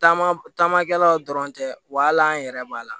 Taama taamakɛlaw dɔrɔn tɛ wa hali an yɛrɛ b'a la